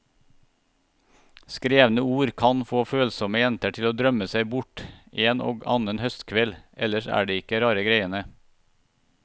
Skrevne ord kan få følsomme jenter til å drømme seg bort en og annen høstkveld, ellers er det ikke rare greiene.